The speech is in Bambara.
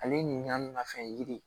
Ale ɲininkali min na fɛn yiri